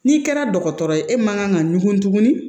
N'i kɛra dɔgɔtɔrɔ ye e man kan ka ɲugun tugun